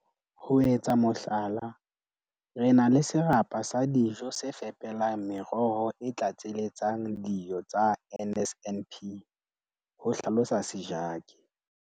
"Ho etsa mohlala, re na le serapa sa dijo se fepelang meroho e tlatseletsang dio tsa NSNP," ho hlalosa Sejake.